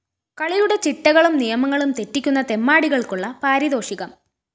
കളിയുടെ ചിട്ടകളും നിയമങ്ങളും തെറ്റിക്കുന്ന തെമ്മാടികള്‍ക്കുള്ള പാരിതോഷികം